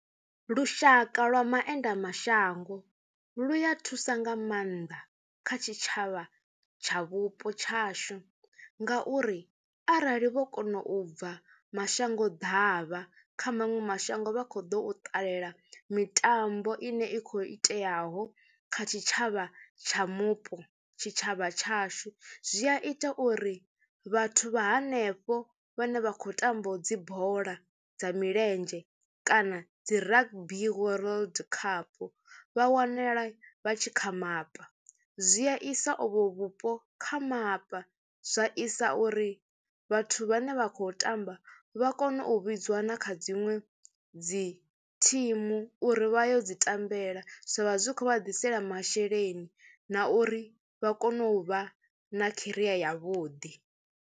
Lushaka lwa maenda mashango lu ya thusa nga maanḓa kha tshitshavha tsha vhupo tshashu ngauri arali vho kona u bva mashango ḓavha kha maṅwe mashango vha khou ḓo u ṱalela mitambo ine i khou iteaho kha tshitshavha tsha mupo. Tshitshavha tshashu zwi a ita uri vhathu vha hanefho vhane vha khou tamba dzi bola dza milenzhe kana dzi rugby world cup vha wanale vha tshi kha mapa. Zwi a isa ovho vhupo kha mapa, zwa isa uri vhathu vhane vha kho tamba vha kone u vhidziwa na kha dziṅwe dzi thimu uri vha yo dzi tambela zwa vha zwi khou vha ḓisela masheleni na uri vha kone u vha na kheriya yavhuḓi.